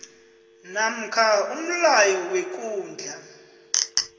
namkha umlayo wekundla